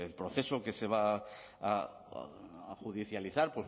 proceso que se va a judicializar